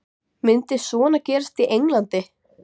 Myndi svona gerast í Englandi?